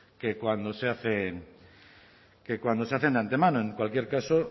que cuando se hacen que cuando se hacen de antemano en cualquier caso